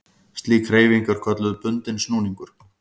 Slík hreyfing er kölluð bundinn snúningur.